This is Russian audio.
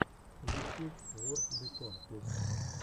ютьюб ворп бикон песня